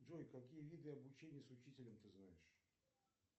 джой какие виды обучения с учителем ты знаешь